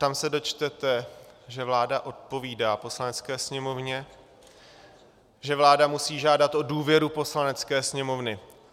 Tam se dočtete, že vláda odpovídá Poslanecké sněmovně, že vláda musí žádat o důvěru Poslanecké sněmovny.